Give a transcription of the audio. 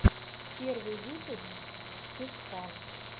первый выпуск тесфан